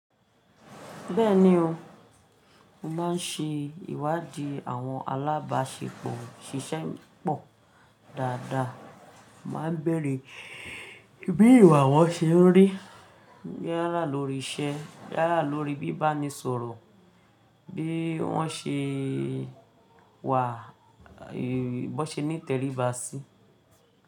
Bẹ́ẹ̀ni o, mo máa ń ṣe ìwádìí àwọn alábàáṣepọ̀ ṣiṣẹ́ pọ̀ dáadáa. Mo máa ń bẹ̀rẹ̀ bí ìwà wọn ṣe ń rí, yálà lórí iṣẹ́, yálà lórí bíba ni sọ̀rọ̀, bí wọ́n ṣe wà, bí wọ́n ṣe ni tẹríba sí.